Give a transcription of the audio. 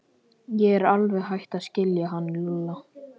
Ég er alveg hætt að skilja hann Lúlla.